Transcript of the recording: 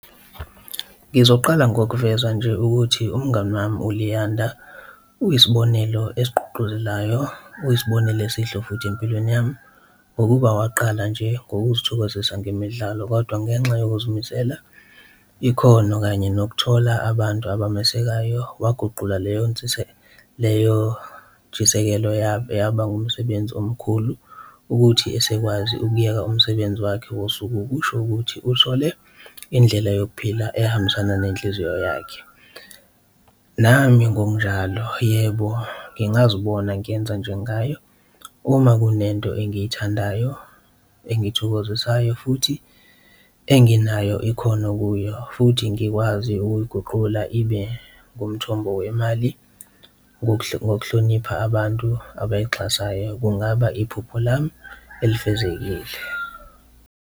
Ngizoqala ngokuvela nje ukuthi umngani wami uLuyanda uyisibonelo esigqugquzelayo, uyisibonelo esihle futhi empilweni yami ngokuba waqala nje ngokuzithokozisa ngemidlalo kodwa ngenxa yokuzimisela ikhono kanye nokuthola abantu abamesekayo, waguquka leyo leyo ntshisekelo yaba umsebenzi omkhulu. Ukuthi esekwazi ukuyeka umsebenzi wakhe wosuku kusho ukuthi uthole indlela yokuphila ehambisana nenhliziyo yakhe, nami ngokunjalo yebo ngingazibona ngiyenza njengaye uma kunento engiyithandayo, engithokozisayo futhi enginayo ikhono kuyo. Futhi ngikwazi ukuyiguqula ibe ngumthombo wemali ngokuhlonipha abantu abayixhasayo kungaba iphupho lami elifezekile.